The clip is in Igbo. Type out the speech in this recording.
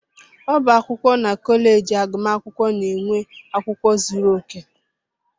Ọbá akwụkwọ na kọleji agụmakwụkwọ na nwe akwụkwọ zuru oke.